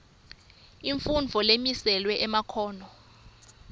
imfundvo lemiselwe emakhono